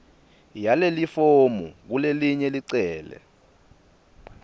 yalelifomu kulelelinye licele